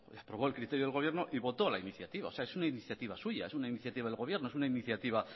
y aprobó el criterio del gobierno y votó la iniciativa o sea es una iniciativa suya es una iniciativa del gobierno es una iniciativa